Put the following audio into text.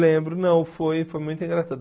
Lembro, não, foi foi muito engraçado.